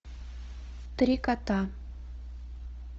три кота